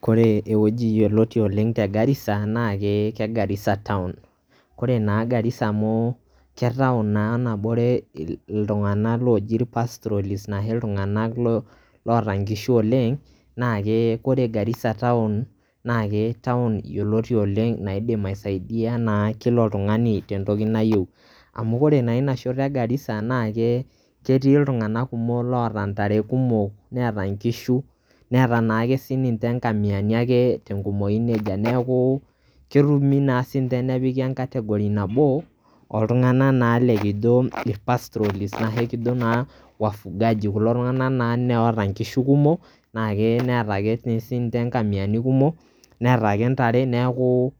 kore ewueji yioloti oleng te Garissa na ke Garissa town ore naa Garissa amu ke town naa nabore loji pastrolist na he iltunganak loota oleng na ke ore Garissa town na [cstown yioloti oleng naidim aisaidia naa kila oltungani tentoki nayieu . amu ore naa ina shoto e Garissa na ke ketii iltunganak kumok loota ntare kumok neeta nkishu ,neeta naake siiniinche nkamiani te nkumoi ake nejia neku ketumi naa sinche nepiki e category nabo oltunganak naa likijo naa pastrolist ashu enkijo naa wafugaji kulo tunganak naa loota nkishu kumok na neeta ake sinche nkamiani kumok, neeta ake ntare neeku